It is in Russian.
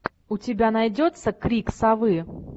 у тебя найдется крик совы